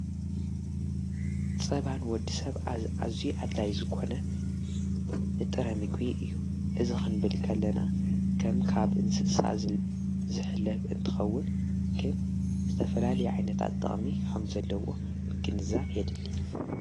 ፀባን ወዲ ሰብ ኣዙይ ኣድላይ ዝኮነ ንጥረ ምግቢ እዩ እዚ ኽንብልከለና ከም ካብ እንስሳ ዝሕለብ እንትኸውን ግን ዝተፈላል ዓይነታት ጥቕሚ ከምዘለዎ ምግንዛብ የድሊ።